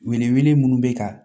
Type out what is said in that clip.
Wele wele minnu bɛ ka